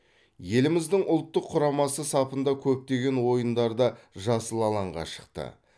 еліміздің ұлттық құрамасы сапында көптеген ойындарда жасыл алаңға шықты